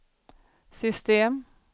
system